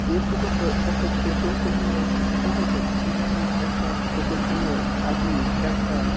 এই ফটো তয় এক পেট্রল পাম্প এর ফটো বটে যাহা একটা পেট্রল পাম্প এর আদমি একটা--